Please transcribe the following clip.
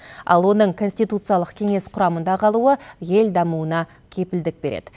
ал оның конституциялық кеңес құрамында қалуы ел дамуына кепілдік береді